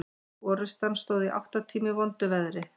Orrustan stóð í átta tíma í vondu veðri.